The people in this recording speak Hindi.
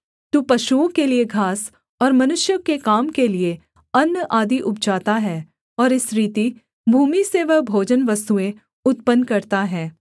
तू पशुओं के लिये घास और मनुष्यों के काम के लिये अन्न आदि उपजाता है और इस रीति भूमि से वह भोजनवस्तुएँ उत्पन्न करता है